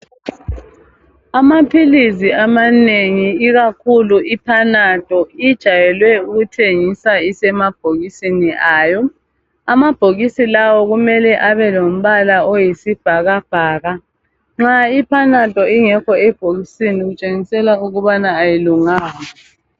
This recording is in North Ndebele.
Amaphilizi amanengi ikakhulu i panado ijwayele ukuthengiswa isemabhokisini ayo amabhokisi lawo kumele abe lombala oyisibhakabhaka nxa ipanado ingekho ebhokisini kutshengisela ukubana ayilunganga .